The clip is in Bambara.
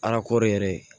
yɛrɛ